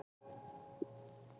Undirlægjunum að kenna.